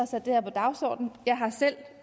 sat det her på dagsordenen jeg har selv